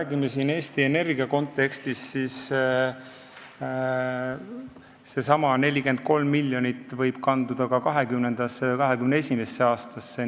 Kui me räägime Eesti Energia kontekstis, siis seesama 43 miljonit võib kanduda ka 2020. või 2021. aastasse.